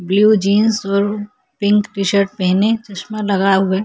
Blue jeans और pink t-shirt पहने चस्मा लगाए हुए।